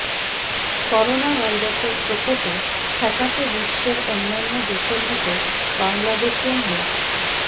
করোনাভাইরাসের প্রকোপে ঠেকাতে বিশ্বের অন্যান্য দেশের মতো বাংলাদেশেও নে